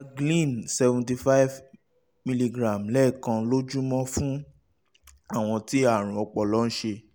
pregabalin cs] seventy five miligram lẹ́ẹ̀kan lójúmọ́ fún àwọn tí àrùn ọpọlọ ń ṣe